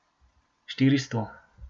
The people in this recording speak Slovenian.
Štiristo.